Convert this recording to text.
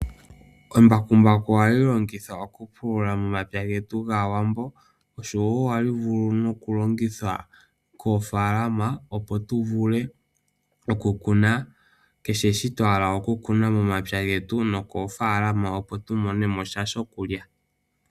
Embakumbaku ohali longithwa okupulula momapya getu momapya getu gAawambo oshowoo ohali vulu nokulongithwa koofaalama, opo tuvule okukuna kehe sho twa hala okukuna momapya getu noofaalama opo tu monemo sha shokulya.